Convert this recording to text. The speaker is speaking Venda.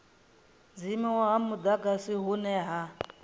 dzimiwa ha mudagasi hune ha